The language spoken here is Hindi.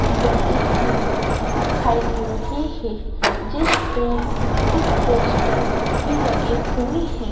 बिल्डिंग भी दिखाई दे रही है जिस पे कुछ पोस्टर भी लगे हुए हैं।